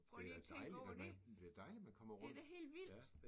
Prøv lige at tænke over det. Det da helt vildt